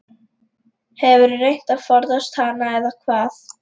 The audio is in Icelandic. Hefurðu reynt að forðast hana eða hvað?